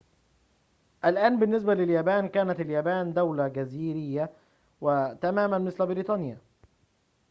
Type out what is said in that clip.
الآن بالنسبة لليابان كانت اليابان دولةً جزريةً تماماً مثل بريطانيا